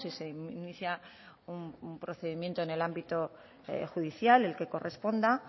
si se inicia un procedimiento en el ámbito judicial el que corresponda